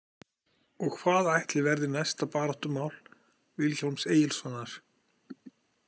Og hvað ætli verði næsta baráttumál Vilhjálms Egilssonar?